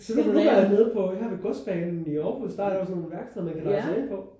Nu var jeg nede på her ved Godsbanen i Aarhus der er jo sådan et værksted man kan logge sig ind på